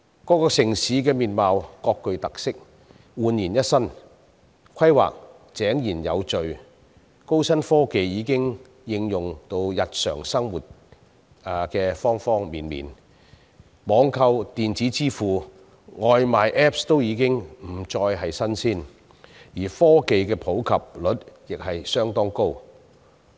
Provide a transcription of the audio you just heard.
各個城市的面貌各具特色，煥然一新，規劃井然有序，高新科技已經應用於日常生活的各個方面，網購、電子支付、外賣 apps 均已不再是新鮮事物，而科技的普及率亦相當高。